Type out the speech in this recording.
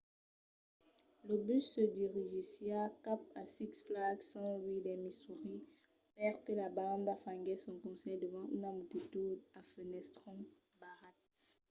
lo bus se dirigissiá cap a six flags st. louis dins missouri perque la banda faguèsse son concèrt davant una multitud a fenestrons barrats